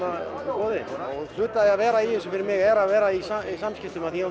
í boði hluti af því að vera í þessu fyrir mig er að vera í samskiptum af því að